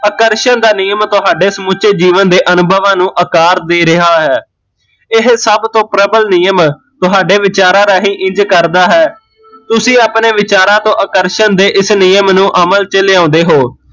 ਆਕਰਸ਼ਣ ਦਾ ਨਿਯਮ ਤੁਹਾਡੇ ਸਮੁੱਚੇ ਜੀਵਨ ਦੇ ਅਨੁਭਵਾਂ ਨੂੰ ਆਕਾਰ ਦੇ ਰਿਹਾ ਹੈ, ਇਹ ਸਭ ਤੋਂ ਪ੍ਰਭਲ ਨਿਯਮ ਤੁਹਾਡੇ ਵਿਚਾਰਾ ਰਾਹੀਂ ਇੰਜ ਕਰਦਾ ਹੈ ਤੁਸੀਂ ਅਪਣੇ ਵਿਚਾਰਾਂ ਤੋਂ ਆਕਰਸ਼ਣ ਦੇ ਇਸ ਨਿਯਮ ਨੂੰ ਅਮਲ ਚ ਲਿਆਉਂਦੇ ਹੋ